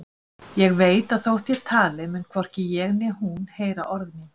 Ég veit að þótt ég tali mun hvorki ég né hún heyra orð mín.